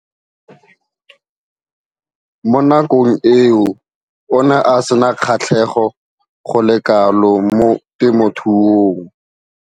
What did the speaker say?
Mo nakong eo o ne a sena kgatlhego go le kalo mo temothuong.